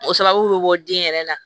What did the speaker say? O sababu bɛ bɔ den yɛrɛ na